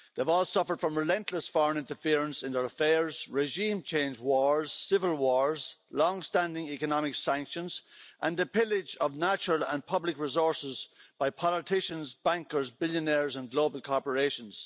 They've all suffered from relentless foreign interference in their affairs, regime change, wars, civil wars, long standing economic sanctions, and the pillage of natural and public resources by politicians, bankers, billionaires and global corporations.